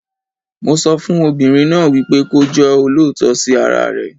Mo sọ fún obìnrin náà wípé kí ó jẹ́ olóòótọ sí ara rẹ̀.